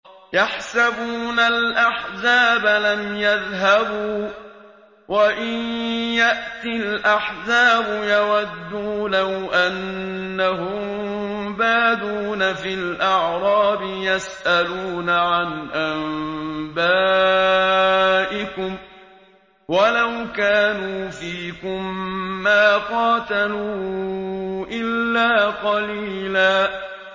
يَحْسَبُونَ الْأَحْزَابَ لَمْ يَذْهَبُوا ۖ وَإِن يَأْتِ الْأَحْزَابُ يَوَدُّوا لَوْ أَنَّهُم بَادُونَ فِي الْأَعْرَابِ يَسْأَلُونَ عَنْ أَنبَائِكُمْ ۖ وَلَوْ كَانُوا فِيكُم مَّا قَاتَلُوا إِلَّا قَلِيلًا